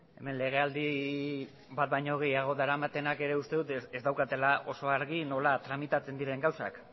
hemen legealdi bat baino gehiago daramatenak ere uste dut ez daukatela oso argi nola tramitatzen diren gauzak